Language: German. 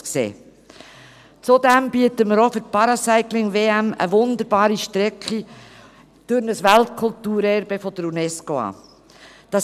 Zudem bieten wir auch für die Paracycling-WM eine wunderbare Strecke durch ein Weltkulturerbe der Unesco an.